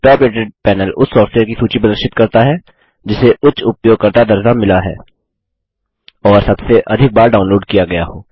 top rated panel उस software की सूची प्रदर्शित करता है जिसे उच्च उपयोगकर्ता दर्जा मिला है और सबसे अधिक बार डाउनलोड किया गया हो